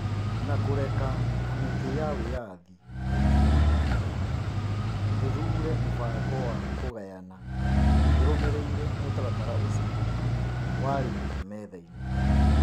Na kũreka Kamĩtĩ ya wĩyathi ya ithurano na mĩhaka ĩthuure mũbango wa kũgayana ĩrumĩrĩire mũtaratara ũcio, warĩ metha-inĩ.